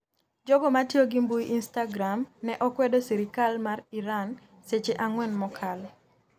Jogo matiyo gi mbui instagram ne okwedo sirikal mar Iran seche ang'wen mokalo